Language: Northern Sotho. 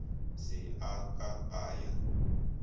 se a ka a ya